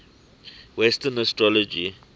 western astrology